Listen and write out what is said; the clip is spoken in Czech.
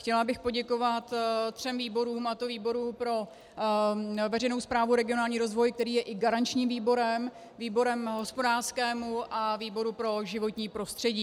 Chtěla bych poděkovat třem výborům, a to výboru pro veřejnou správu, regionální rozvoj, který je i garančním výborem, výboru hospodářskému a výboru pro životní prostředí.